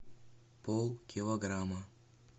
полкилограмма